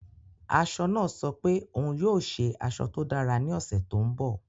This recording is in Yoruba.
Aṣọ náà sọ pé òun yóò ṣe aṣọ tó dára ní ọ̀sẹ̀ tó ń bọ̀.